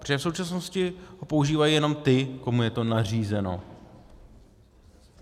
Protože v současnosti ho používají jenom ti, komu je to nařízeno.